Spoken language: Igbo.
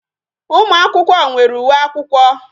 Ụmụ akwụkwọ nwere uwe akwụkwọ